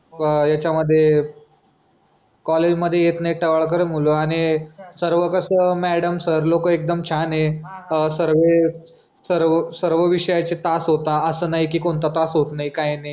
अह याच्यामध्ये कॉलेजमध्ये येत नाही टवाळखोर मुलं आणि सर्व कसं मॅडम सर लोक एकदम छान आहे. सर्वे सर्व सर्व विषयांचे तास होता असं नाही की कोणता तास होत नाही काही नाही.